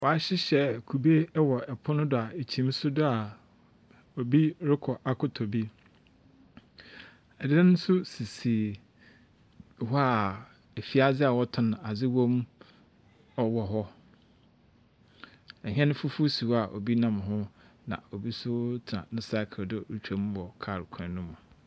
Wɔahyehyɛ kube wɔ pon no do a kyim si do a obi rokɔ akɔtɔ bi. Dan so sisi hɔ a efiadze wɔtɔn adze wɔ mu wɔ hɔ. Hɛn fufuw si hɔ a obi nam ho. Na obi so tsena ne cycle a do orutwa mu wɔ kaa kwan mu.